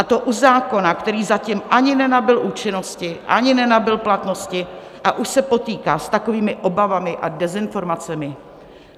A to u zákona, který zatím ani nenabyl účinnosti, ani nenabyl platnosti, a už se potýká s takovými obavami a dezinformacemi.